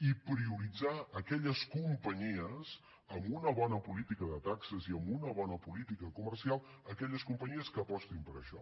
i prioritzar aquelles companyies amb una bona política de taxes i amb una bona política comercial aquelles companyies que apostin per això